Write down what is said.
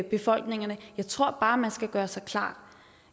befolkningerne jeg tror bare man skal gøre sig klart